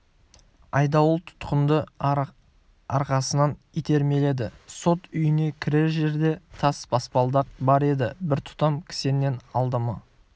айдауыл тұтқынды арқасынан итермеледі сот үйіне кірер жерде тас баспалдақ бар еді бір тұтам кісеннен адымы